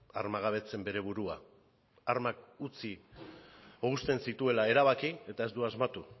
armagabetzen bere burua armak utzi edo uzten zituela erabaki eta ez du asmatu